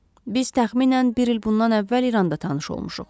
Biz təxminən bir il bundan əvvəl İranda tanış olmuşuq.